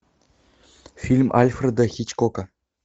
фильм альфреда хичкока